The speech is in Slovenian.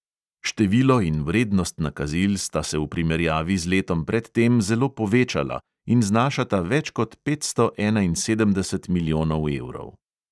Število in vrednost nakazil sta se v primerjavi z letom pred tem zelo povečala in znašata več kot petsto enainsedemdeset milijonov evrov.